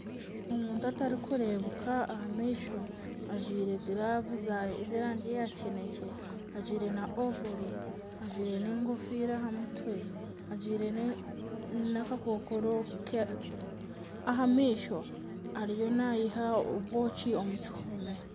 Omuntu atari kurebeka aha maisho ajwaire giravu z'erangi ya kinekye, ajwaire na ovoro, ajwaire n'engofiira aha mutwe, ajwaire n'akakokoro aha maisho ariyo nayiha obwoki omu kihumi.